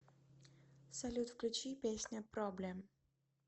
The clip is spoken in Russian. салют включи песня проблем